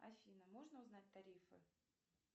афина можно узнать тарифы